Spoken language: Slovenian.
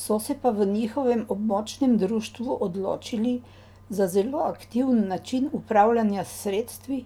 So se pa v njihovem območnem društvu odločili za zelo aktiven način upravljanja s sredstvi,